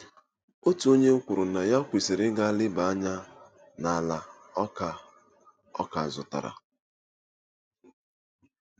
Otu onye kwuru na ya kwesịrị ịga leba anya n’ala ọ ka ọ ka zụtara.